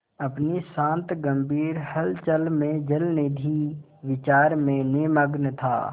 अपनी शांत गंभीर हलचल में जलनिधि विचार में निमग्न था